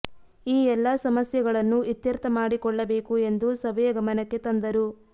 ಈ ಎಲ್ಲ ಸಮಸ್ಯೆಗಳನ್ನು ಇತ್ಯರ್ಥ ಮಾಡಿಕೊಳ್ಳಬೇಕು ಎಂದು ಸಭೆಯ ಗಮನಕ್ಕೆ ತಂದರು